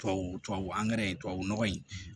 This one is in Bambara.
Tubabu tubabu angɛrɛ tubabu nɔgɔ in